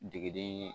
Jigiden